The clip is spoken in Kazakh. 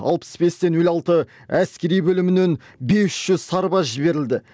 алпыс те нөл алты әскери бөлімінен бес жүз сарбаз жіберілді